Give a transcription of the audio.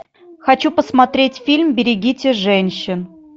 хочу посмотреть фильм берегите женщин